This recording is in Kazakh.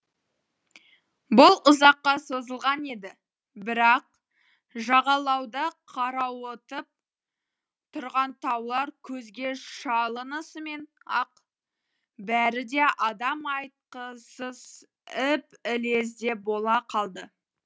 бұл ұзаққа созылған еді бірақ жағалауда қарауытып тұрған таулар көзге шалынысымен ақ бәрі де адам айтқысыз іп ілезде бола қалды